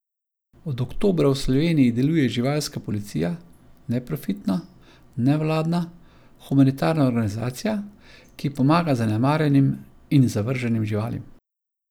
Od oktobra v Sloveniji deluje Živalska policija, neprofitna, nevladna, humanitarna organizacija, ki pomaga zanemarjenim in zavrženim živalim.